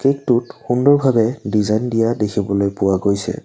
Cake টোত সুন্দৰভাৱে design দিয়া দেখিবলৈ পোৱা গৈছে।